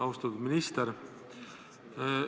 Austatud minister!